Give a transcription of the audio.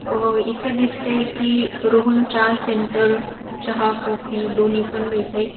अ इथे दिसतय कि रोहन चहा सेंटर चहा कॉफी दोन्ही पण मिळतय.